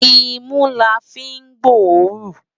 Imú lá fi n gbóòrún